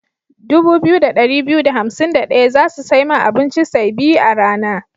Dubu biyu da ɗari biyu da hansim da ɗaya za su sai ma abinci say biyu a rana.